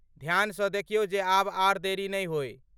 ध्यान सँ देखियौ जे आब आर देरी नै होइ।